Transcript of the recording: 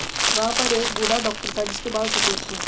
वहां पर एक और बूढ़ा डाक्टर था जिसके बाल सफेद थे